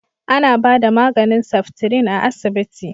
A na ba da maganin seftrin a asibiti